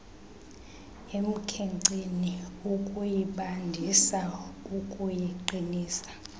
emkhenkceni ukuyibandisa ukuyiqinisa